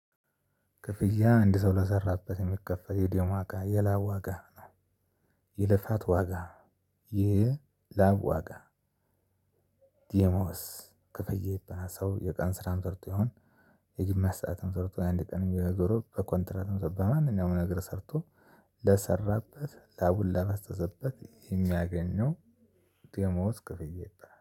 ክፍያ አንድ ሰው ለሰራበት የሚከፈል የደም ዋጋ የላብ ዋጋ የልፋት ዋጋ የላብ ዋጋ ደሞዝ ክፍያ ይባላል። ሰው የቀን ስራም ሰርቶ ይሁን የግማሽ ሰዓትም ሰርቶ የአንድ ቀንም ዞሮ በኮንትራትም ሰርቶ በማንኛውም ነገር ሰርቶ ለሰራበት ላቡን ላፈሰሰበት የሚያገኘው። ደሞዝ ክፍያ ይባላል